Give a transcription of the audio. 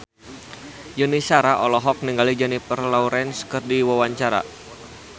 Yuni Shara olohok ningali Jennifer Lawrence keur diwawancara